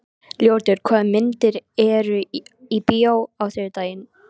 Ljótur, hvaða myndir eru í bíó á þriðjudaginn?